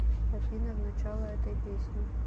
афина в начало этой песни